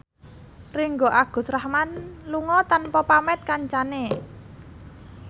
Ringgo Agus Rahman lunga tanpa pamit kancane